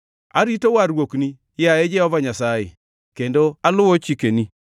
Arito warruokni, yaye Jehova Nyasaye, kendo aluwo chikeni.